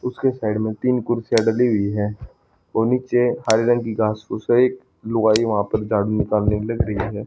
उसके साइड में उसके साइड में तीन कुर्सी डली हुई है व नीचे हरे रंग की घास फूस है एक लुगाई वहां पर झाड़ू निकलने के लिए है।